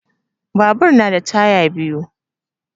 Babur na da taya biyu.